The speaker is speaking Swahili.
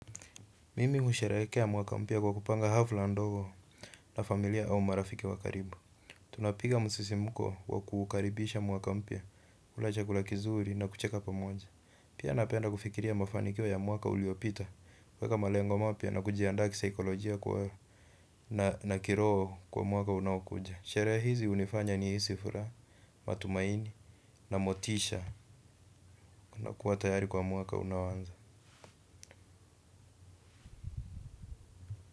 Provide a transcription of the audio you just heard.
Mimi husherehekea mwaka mpya kwa kupanga hafla ndogo na familia au marafiki wak karibu. Tunapiga msisimko wa kuukaribisha mwaka mpya, kula chakula kizuri na kucheka pamoja pia napenda kufikiria mafanikio ya mwaka uliopita, kuweka malengo mapya na kujiandaa kisaikolojia na kiroho kwa mwaka unaokuja, sherehe hizi hunifanya nihisi furaha, matumaini na motisha na kuwa tayari kwa mwaka unaoanza.